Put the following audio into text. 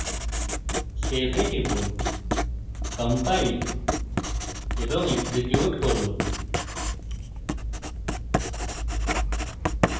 save এ টিপুন compile এবং execute করি